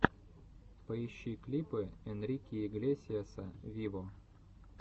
поищи клипы энрике иглесиаса виво